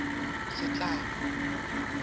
setlamo